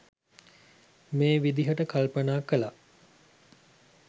මේ විදිහට කල්පනා කළා.